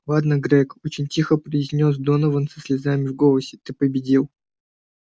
ладно грег очень тихо произнёс донован со слезами в голосе ты победил